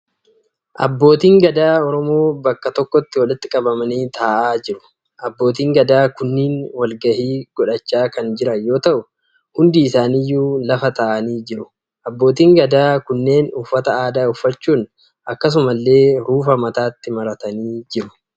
Abbootiin Gadaa Oromoo bakka tokkotti walitti qabamanii taa'aa jiru. Abbootiin Gadaa kunneen walgahii godhachaa kan jiran yoo ta'u, hundi isaaniyyuu lafa taa'anii jiru. Abbootiin Gadaa kunneen Uffata aadaa uffachuun akkasumallee ruufa mataatti maratanii jiru.